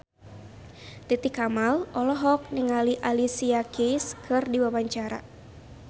Titi Kamal olohok ningali Alicia Keys keur diwawancara